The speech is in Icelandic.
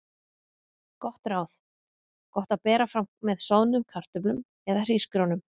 Gott ráð: Gott að bera fram með soðnum kartöflum eða hrísgrjónum.